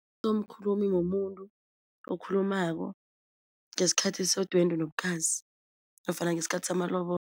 mumuntu okhulumako ngesikhathi sedwendwe nobukhazi nofana ngesikhathi samalobolo